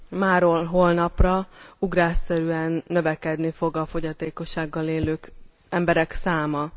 Máról holnapra ugrásszerűen növekedni fog a fogyatékossággal élő emberek száma.